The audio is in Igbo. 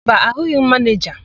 Mba, ahụghị m manịja.